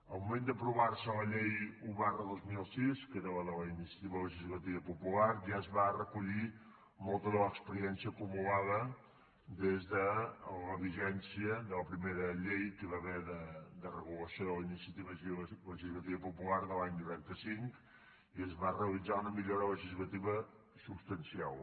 al moment d’aprovar se la llei un dos mil sis que era la de la iniciativa legislativa popular ja es va recollir molta de l’experiència acumulada des de la vigència de la primera llei que hi va haver de regulació de la iniciativa legislativa popular de l’any noranta cinc i es va realitzar una millora legislativa substancial